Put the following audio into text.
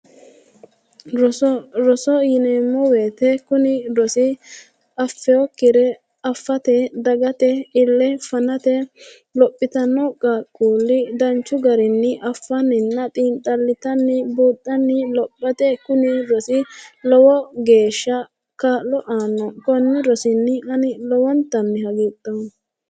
Roso roso yineemo woyite kuni rosi affewokkire afate dagate ille fanate lophita no qaaquulli danichu garinnii affannina xiinixallitanni buuxanni lophate kuni rosi lowo geesha kaa'lo aanno konni rosinni ani lowonitanni hagiidhooma